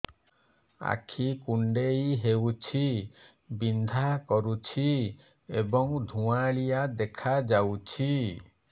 ଆଖି କୁଂଡେଇ ହେଉଛି ବିଂଧା କରୁଛି ଏବଂ ଧୁଁଆଳିଆ ଦେଖାଯାଉଛି